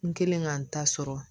N kɛlen ka n ta sɔrɔ